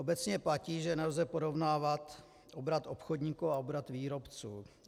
Obecně platí, že nelze porovnávat obrat obchodníků a obrat výrobců.